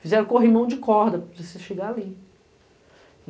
Fizeram corrimão de corda para você chegar ali.